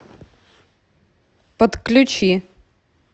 подключи